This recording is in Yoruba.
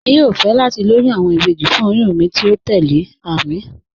Èmi yóò fẹ́ láti lòyún awọn ìbéjì fún òyùn mi tí o tẹlẹ̀, Àmín.